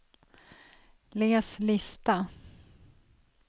läs lista